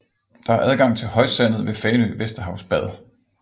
Der er adgang til højsandet ved Fanø Vesterhavsbad